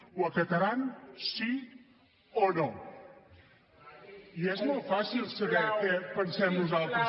ho acataran sí o no i és molt fàcil saber què pensem nosaltres